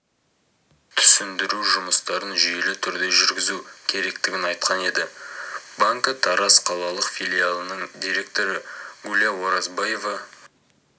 түсіндіру жұмыстарын жүйелі түрде жүргізу керектігін айтқан еді банкі тараз қалалық филиалының директоры гуля оразбаева